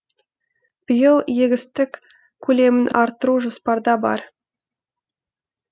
биыл егістік көлемін арттыру жоспарда бар